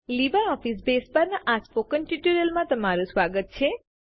LibreOffice base પરના આ spoken ટ્યુટોરીયલમાં તમારું સ્વાગત છે